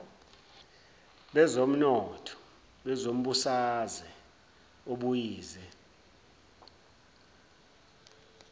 bezomnotho nezombusaze obuyize